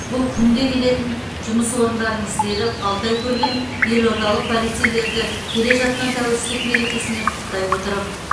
бұл күнде келетін жұмыс орындарыңыз деді алтай көлгінов елордалық полицейлерді келе жатқан тәуелсіздік мерекесімен құттықтай отырып